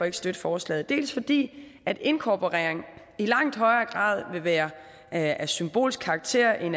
ikke støtte forslaget dels fordi en inkorporering i langt højere grad vil være af symbolsk karakter end